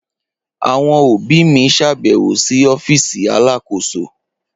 Awọn obi mi ṣabẹwo si ọfiisi Alakoso.